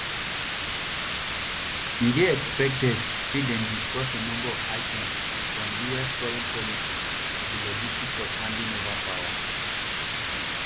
e dey expected say dem discuss a number of items from us foreign policy to di logistics of handing over power